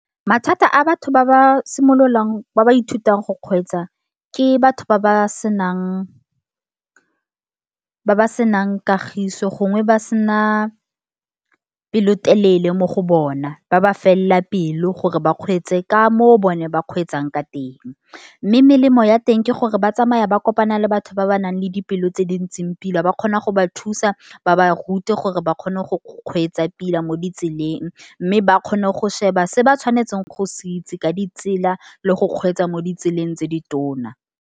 Mathata a batho, ba ba simololang ba ba ithutang go kgweetsa. Ke batho ba ba senang ba ba senang kagiso gongwe ba sena pelotelele mo go bona. Ba ba felela pelo, gore ba kgweetse ka moo bone ba kgweetsang ka teng. Mme melemo ya teng ke gore, ba tsamaya ba kopana le batho ba ba nang le dipelo tse dintseng pila. Ba kgona go ba thusa ba ba rute gore ba kgone go kgweetsa pila, mo ditseleng. Mme ba kgone go sheba se ba tshwanetseng go se itse ka ditsela, le go kgweetsa mo ditseleng tse di tona.